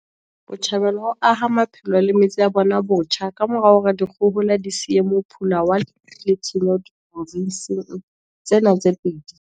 Botjhabela ho aha maphelo le metse ya bona botjha ka mora hore dikgohola di siye mophula wa lefu le tshenyo diprofenseng tsena tse pedi.